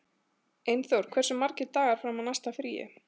Einþór, hversu margir dagar fram að næsta fríi?